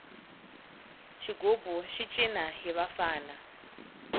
xigubu xi cina hi vafana